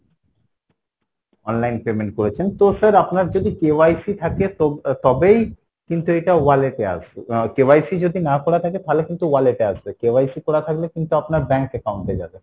online payment করেছেন তো sir আপনার যদি KYC থাকে তবেই কিন্তু এটা wallet এ KYC যদি না করা থাকে তাহলে কিন্তু wallet এ আসবে, KYC করা থাকলে কিন্তু আপনার bank account এ যাবে,